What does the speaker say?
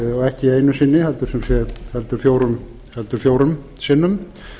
ekki einu sinni heldur fjórum sinnum